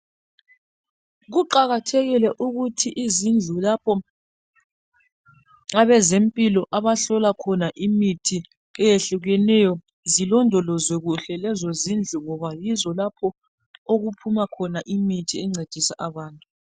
Kuqakathekile ukuthi izindlu lapho abezempilo abahlola khona imithi eyehlukeneyo zilondolozwe kuhle lezo zindlu ngoba yizo lapho okuphuma khona imithi encedisa abantu.